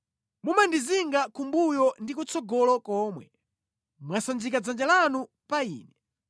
Mumandizinga kumbuyo ndi kutsogolo komwe; mwasanjika dzanja lanu pa ine.